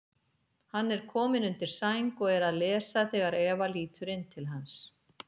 Hann er kominn undir sæng og er að lesa þegar Eva lítur inn til hans.